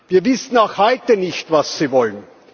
Wir wissen auch heute nicht, was Sie wollen.